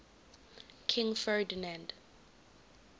king ferdinand